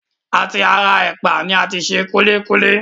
À ti ara ẹ̀pà ni a ti se kúlíkúlí